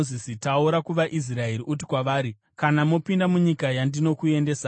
“Taura kuvaIsraeri uti kwavari: ‘Kana mopinda munyika yandinokuendesai